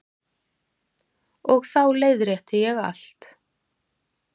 Og þá leiðrétti ég allt.